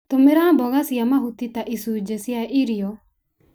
Tũmĩra mboga cia mahuti ta icunji cia irio.